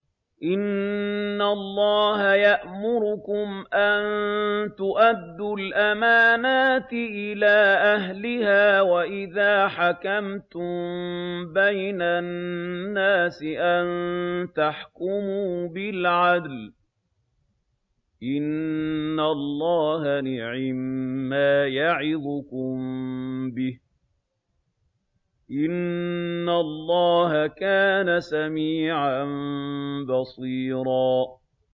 ۞ إِنَّ اللَّهَ يَأْمُرُكُمْ أَن تُؤَدُّوا الْأَمَانَاتِ إِلَىٰ أَهْلِهَا وَإِذَا حَكَمْتُم بَيْنَ النَّاسِ أَن تَحْكُمُوا بِالْعَدْلِ ۚ إِنَّ اللَّهَ نِعِمَّا يَعِظُكُم بِهِ ۗ إِنَّ اللَّهَ كَانَ سَمِيعًا بَصِيرًا